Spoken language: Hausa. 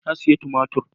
Na sayi tumatir.